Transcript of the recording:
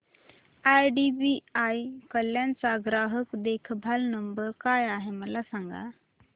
IDBI Kalyan चा ग्राहक देखभाल नंबर काय आहे मला सांगा